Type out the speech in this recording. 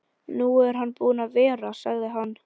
Nú er hann búinn að vera, sagði hann.